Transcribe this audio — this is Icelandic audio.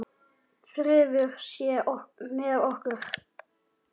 Friður sé með okkur.